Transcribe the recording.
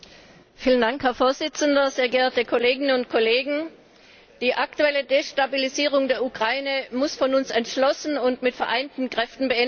Herr Präsident, sehr geehrte Kolleginnen und Kollegen! Die aktuelle Destabilisierung der Ukraine muss von uns entschlossen und mit vereinten Kräften beendet werden.